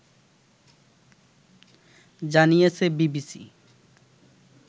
জানিয়েছে বিবিসি